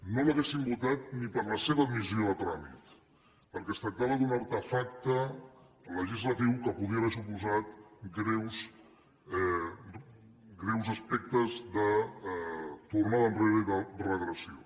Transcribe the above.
no l’hauríem votada ni per a la seva admissió a tràmit perquè es tractava d’un artefacte legislatiu que podia haver suposat greus aspectes de tornada enrere i de regressió